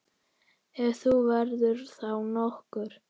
Ef hún verður þá nokkur.